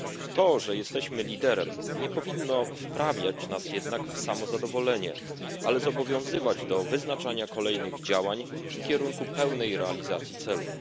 To, że jesteśmy liderem, nie powinno wprawiać nas jednak w samozadowolenie, ale zobowiązywać do wyznaczania kolejnych działań w kierunku pełnej realizacji celów.